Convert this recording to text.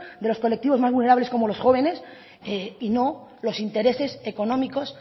de los colectivos más vulnerables como los jóvenes y no los intereses económicos